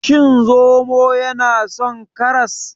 Shin zomo yana son karas?